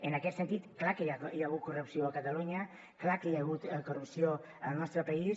en aquest sentit clar que hi ha hagut corrupció a catalunya clar que hi ha hagut corrupció al nostre país